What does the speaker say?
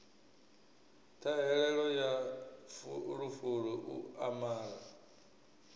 ṱhahelelo ya fulufulu u amara